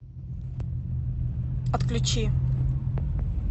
отключи